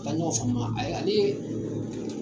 U Ka ɲɔgɔn faamuya ayi ale